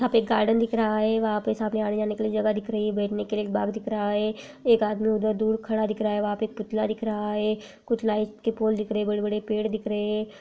यहां पे एक गार्डन दिख रहा है वह पे आने जाने के लिए जगह दिख रही है बेठने के बाग दिख रहा है एक आदमी उदर दूर खड़ा दिख रहा है वह पे पुतला दिख रहा है कुछ लाइट के पोल दिख रहे है बड़े-बड़े पैड दिख रहे है।